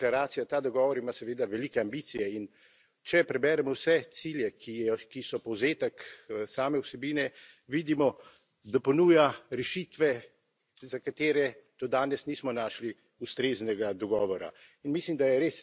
Ta deklaracija, ta dogovor ima seveda velike ambicije in če preberemo vse cilje, ki so povzetek same vsebine, vidimo, da ponuja rešitve, za katere do danes nismo našli ustreznega dogovora.